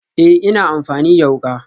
Ee, ina amfani da wuka